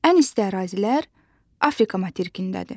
Ən isti ərazilər Afrika materikindədir.